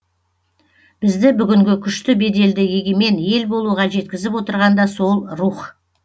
бізді бүгінгі күшті беделді егемен ел болуға жеткізіп отырған да сол рух